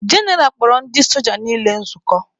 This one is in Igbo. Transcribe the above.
General kpọrọ ndị soja niile nzukọ.